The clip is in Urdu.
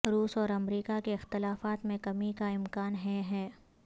روس اور امریکہ کے اختلافات میں کمی کا امکان ہیں ہے